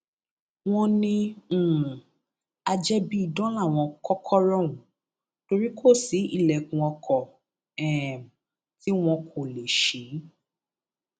wọn ní um ajẹbíidán láwọn kòkòrò ọhún torí kò sí ilẹkùn ọkọ um tí wọn kò lè ṣí